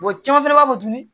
caman fana b'a to dun